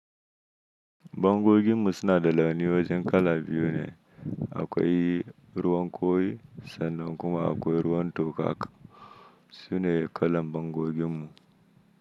Bangogin mu suna da launin wajen kala biyu ne, akwai ruwan koyi sannan kuma akwai ruwan toka, sune kalan bangogin mu.